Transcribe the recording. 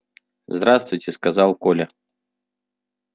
здравствуйте сказал коля